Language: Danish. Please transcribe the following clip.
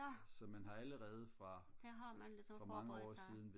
ja der har man ligesom forberedt sig